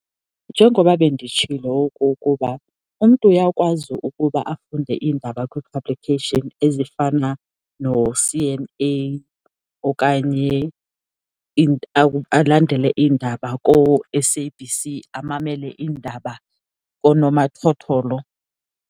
Njengoba benditshilo okokuba umntu uyakwazi ukuba afunde iindaba kwii-publication ezifana noC_N_A okanye alandele iindaba kooS_A_B_C, amamele iindaba koonomathotholo.